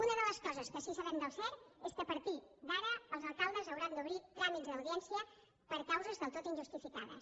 una de les coses que sí que sabem del cert és que a partir d’ara els alcaldes hauran d’obrir tràmits d’audiència per causes del tot injustificades